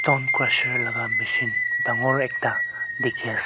kora laga machine mur ekta dekhi ase.